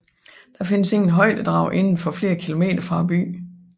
Der findes ingen højdedrag inden for flere kilometer fra byen